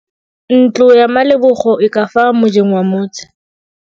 Ntlo ya Malebogo e ka fa mojeng wa motse.